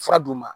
Fura d'u ma